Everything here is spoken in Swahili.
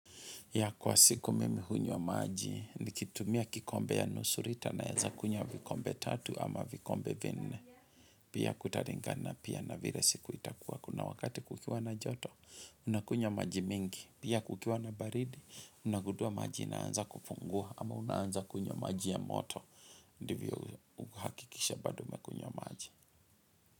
Ya kwa siku mimi hunywa maji nikitumia kikombe ya nusu lita naeza kunywa vikombe tatu ama vikombe vinne. Pia kutalingana pia na vile siku itakuwa kuna wakati kukiwa na joto, unakunywa maji mingi. Pia kukiwa na baridi, unagundua maji inaanza kufunguwa ama unaanza kunywa maji ya moto. Ndivyo uhakikisha bado umekunywa maji.